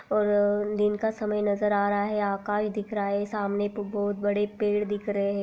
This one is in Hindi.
और अ दिन का समय नज़र आ रहा है आकाश दिख रहा है सामने बहुत बड़े पेड़ दिख रहे है।